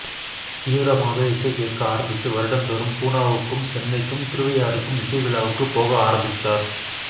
தீவிரமாக இசைகேட்க ஆரம்பித்து வருடம்தோறும் பூனாவுக்கும் சென்னைக்கும் திருவையாறுக்கும் இசைவிழாவுக்கு போக ஆரம்பித்தார்